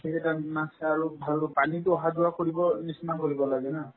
সেইকেইটা আৰু ভালকে পানীতো অহা-যোৱা কৰিবৰ নিচিনা কৰিব লাগে না